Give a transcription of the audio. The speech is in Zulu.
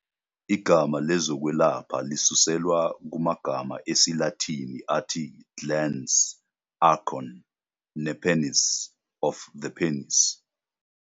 Igama lezokwelapha lisuselwa kumagama esiLatini "athi glans", "acorn", "nepenis", "of the penis".